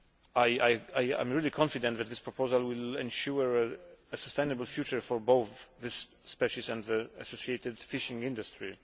I am really confident that this proposal will ensure a sustainable future for both this species and the associated fishing industry.